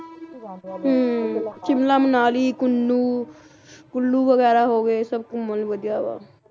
ਹੁੰ ਸ਼ਿਮਲਾ ਮਨਾਲੀ ਕੁੰਨੂ ਕੁੱਲੂ ਵਗੈਰਾ ਹੋਗੇ ਸਭ ਘੁੰਮਣ ਨੂੰ ਵਧੀਆ ਆ